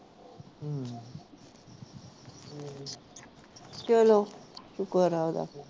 ਚਲੋ